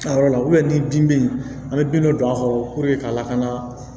A yɔrɔ la ni dimi bɛ yen an bɛ bin dɔ don a kɔrɔ k'a lakana